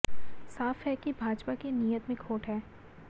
साफ है कि भाजपा की नीयत में खोट है